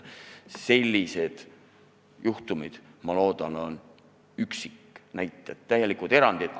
Sellised juhtumid, ma loodan, on üksiknäited, täielikud erandid.